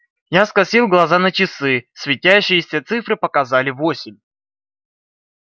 я скосил глаза на часы светящиеся цифры показали восемь